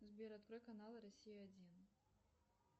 сбер открой канал россия один